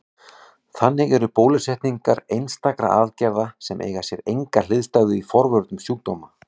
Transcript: Þannig eru bólusetningar einstakar aðgerðir sem eiga sér enga hliðstæðu í forvörnum sjúkdóma.